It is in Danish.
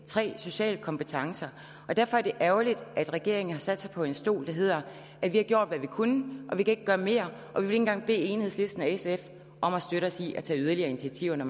tredje sociale kompetencer derfor er det ærgerligt at regeringen har sat sig på en stol der hedder vi har gjort hvad vi kunne og vi kan ikke gøre mere og vi vil ikke engang bede enhedslisten og sf om at støtte os i at tage yderligere initiativer når